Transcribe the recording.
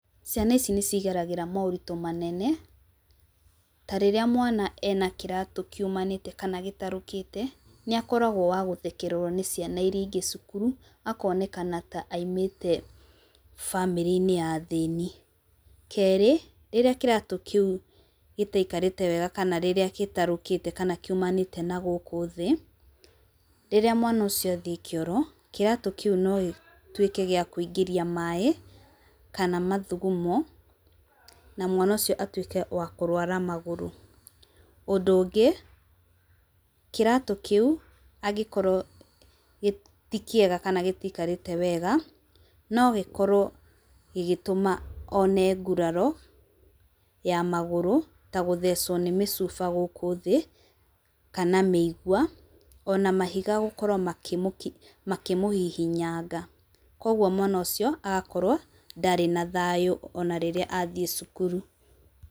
Ciana ici nĩ cigeragĩra moritũ manene, ta rĩrĩa mwana ena kĩratũ kiũmanĩte kana gĩtarũkĩte, nĩ akoragwo wa gũthekererwo nĩ ciana iria ingĩ cukuru, akonekana ta aumĩte bamĩrĩ-inĩ ya thĩni, kerĩ rĩrĩa kĩratũ kĩu gĩtaikarĩte wega kana rĩrĩa gĩtarũkĩte kana kiũmanĩte na gũkũ thĩ, rĩrĩa mwana ũcio athiĩ kĩoro kĩratũ kĩu no gĩtũĩke gĩa kũingĩria maĩ kana mathugumo na mwana ũcio atũĩke wa kũrũara magũrũ, ũndũ ũngĩ kĩratũ kĩũ angĩkorwo tĩkĩega kana gĩtikarĩte wega no gĩkorwo gĩgĩtũma one ngũraro ya magũrũ ta gũthecwo nĩ macuba gũkũ thĩ, kana mĩigwa ona mahiga gũkorwo makĩmũhihinyanga, kogũo mwana ũcio agakorwo ndarĩ na thayũ ona rĩrĩa athiĩ cukuru.